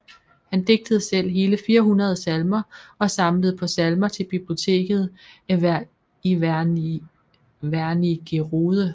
Han digtede selv hele 400 salmer og samlede på salmer til biblioteket i Wernigerode